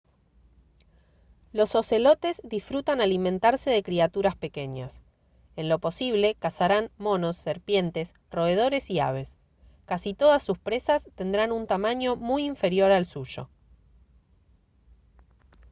los ocelotes disfrutan alimentarse de criaturas pequeñas en lo posible cazarán monos serpientes roedores y aves casi todas sus presas tendrán un tamaño muy inferior al suyo